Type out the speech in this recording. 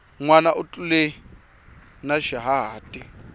nwana u tlule na xihahati